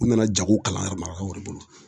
U nana jago kalanyɔrɔ marabagaw de bolo